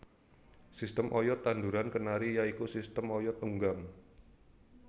Sistem oyod tanduran kenari ya iku sistem oyod tunggang